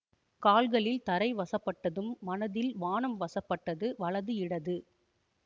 கால்களில் தரை வசப்பட்டதும் மனதில் வானம் வசப்பட்டது வலது இடது